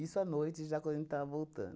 a noite, já quando a gente estava voltando.